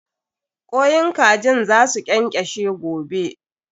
Kwain kajin za su ƙenƙeshe gobe.